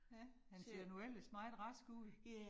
Ja, han ser nu ellers meget rask ud